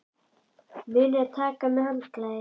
Munið að taka með handklæði!